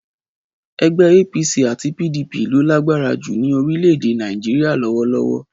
Ẹgbẹ́ APC àti PDP ló lágbára jù ní orílẹ̀-èdè Nàìjíríà lọ́wọ́lọ́wọ́.